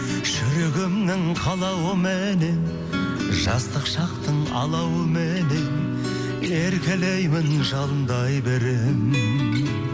жүрегімнің қалауыменен жастық шақтың алауыменен еркелеймін жалындай беремін